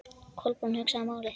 Kolbrún hugsaði málið.